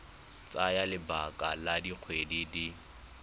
tsaya lebaka la dikgwedi di